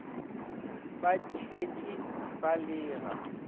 ba tshetše ba le ga